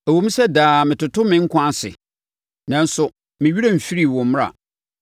Ɛwom sɛ daa metoto me nkwa ase, nanso me werɛ remfiri wo mmara.